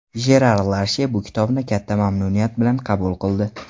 Jerar Larshe bu kitobni katta mamnuniyat bilan qabul qildi.